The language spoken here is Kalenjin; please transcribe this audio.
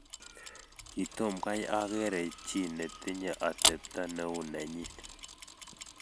Kitomkai akere chi netinye atepto ne u nenyin